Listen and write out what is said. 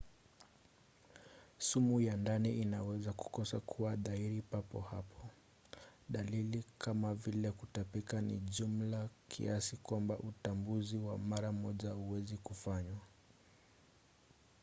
sumu ya ndani inaweza kukosa kuwa dhahiri papo hapo. dalili kama vile kutapika ni jumla kiasi kwamba utambuzi wa mara moja hauwezi kufanywa